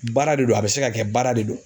Baara de do a bɛ se ka kɛ baara de do.